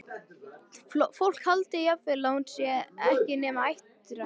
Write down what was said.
Fólk haldi jafnvel að hún sé ekki nema áttræð!